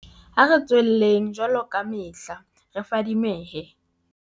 Ha re tswelleng, jwaloka kamehla, re fadimehe.